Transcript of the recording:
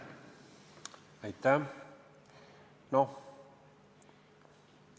Aitäh!